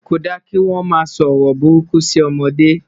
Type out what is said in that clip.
kò dá kí wọn má so ọrọ buruku si ọmọdé